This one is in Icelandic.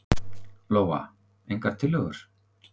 Lóa: Engar tillögur?